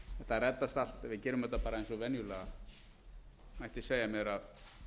þetta reddast allt við gerum þetta bara eins og venjulega mætti segja mér að